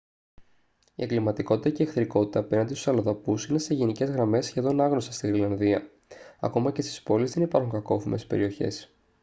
η εγκληματικότητα και η εχθρικότητα απέναντι στους αλλοδαπούς είναι σε γενικές γραμμές σχεδόν άγνωστα στη γροιλανδία. ακόμα και στις πόλεις δεν υπάρχουν «κακόφημες περιοχές»